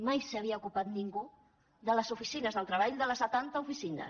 mai no s’havia ocupat ningú de les oficines de treball de les setanta oficines